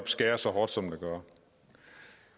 skærer så hårdt som det gør